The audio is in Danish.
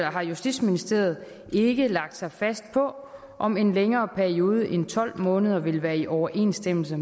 har justitsministeriet ikke lagt sig fast på om en længere periode end tolv måneder vil være i overensstemmelse